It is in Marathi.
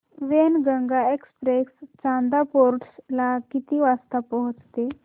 वैनगंगा एक्सप्रेस चांदा फोर्ट ला किती वाजता पोहचते